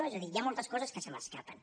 és a dir hi ha moltes coses que se m’escapen